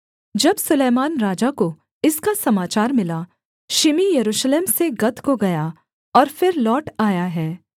जब सुलैमान राजा को इसका समाचार मिला शिमी यरूशलेम से गत को गया और फिर लौट आया है